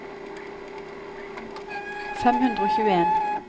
fem hundre og tjueen